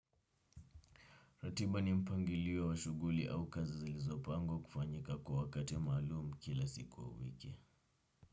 Ratiba ni mpangilio wa shughuli au kazi zilizo pangwa kufanyika kwa wakati malumu kila siku wa wiki.